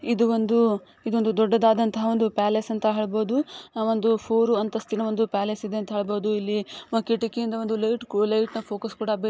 ಇದು ಒಂದು ಇದು ಒಂದು ದೊಡ್ದುದಾದಂತ ಪ್ಯಾಲೇಸ್ ಅಂತ ಹೇಳ್ಬೋದು ಆಹ್ಹ್ ಒಂದು ಫೋರ್ ಅಂತಸ್ತಿನ ಒಂದ್ ಪ್ಯಾಲೇಸ್ ಇದೆ ಅಂತ ಹೇಳ್ಬೋದು ಇಲ್ಲಿ ಕಿಟಕಿಯಿಂದ ಒಂದ್ ಲೈಟ್ ಲೈಟ್ನ ಫೋಕಸ್ --